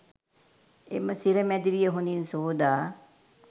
එම සිර මැදිරිය හොඳින් සෝදා